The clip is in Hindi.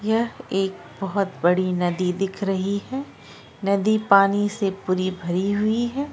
यह एक बोहत बड़ी नदी दिख रही है नदी पानी से पूरी भारी हुई है ।